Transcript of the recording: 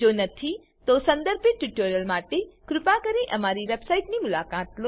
જો નથી તો સંદર્ભિત ટ્યુટોરીયલો માટે કૃપા કરી અમારી વેબસાઈટની મુલાકાત લો